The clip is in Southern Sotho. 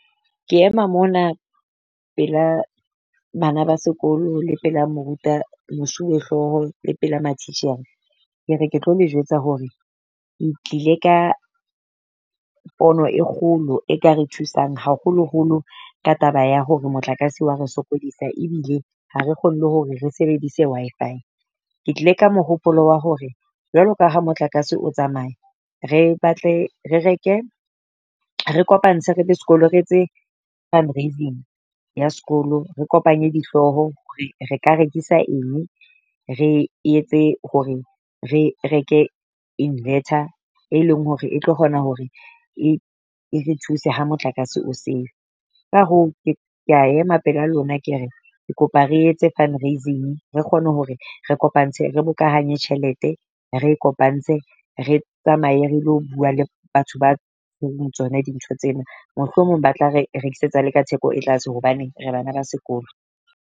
Ke ema mona pela bana ba sekolo le pela moruta mosuwehlooho le pela matitjhere. Ke re ke tlo le jwetsa hore le tlile ka pono e kgolo e ka re thusang haholoholo ka taba ya hore motlakase wa re sokodisa ebile ha re kgone le hore re sebedise Wi-Fi. Ke tlile ka mohopolo wa hore jwalo ka ha motlakase o tsamaya re batle re reke re kopantse, re le sekolo, re etse fundraising ya sekolo. Re kopanye dihlooho hore re ka rekisa eng re etse hore re reke invetor e leng hore e tlo kgona hore e e re thuse ha motlakase o seo. Ka hoo ke kea ema pela lona, ke re ke kopa re etse fundraising, re kgone hore re kopantse, re bokahanye tjhelete, re e kopantse, re tsamaye re lo bua le batho ba tsona dintho tsena mohlomong ba tla re rekisetsa le ka theko e tlase hobane re bana ba sekolo.